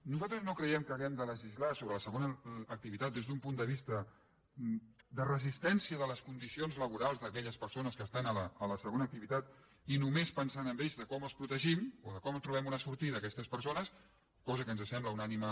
nosaltres no cre·iem que haguem de legislar sobre la segona activitat des d’un punt de vista de resistència de les condicions laborals d’aquelles persones que estan a la segona ac·tivitat i només pensant en ells de com els protegim o de com trobem una sortida a aquestes persones cosa que ens sembla un digne